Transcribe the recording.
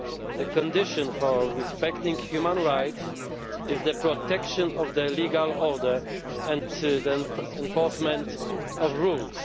The condition for respecting human rights is the protection of the legal order and enforcement of rules.